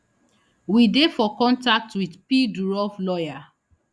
we dey for contact wit p durov lawyer